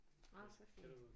Nåh så fint